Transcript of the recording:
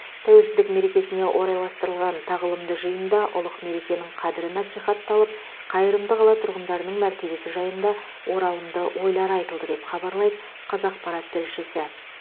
тәуелсіздік мерекесіне орайластырылған тағылымды жиында ұлық мерекенің қадірі насихатталып қайырымды қала тұрғындарының мәртебесі жайында оралымды ойлар айтылды деп хабарлайды қазақпарат тілшісі